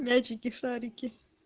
мячики шарики